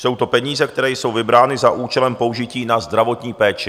Jsou to peníze, které jsou vybrány za účelem použití na zdravotní péči.